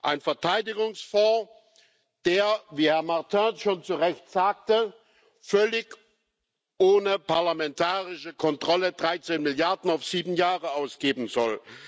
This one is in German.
Ein Verteidigungsfonds, der, wie Herr Martin schon zurecht sagte, völlig ohne parlamentarische Kontrolle 13 Milliarden auf sieben Jahre ausgeben soll.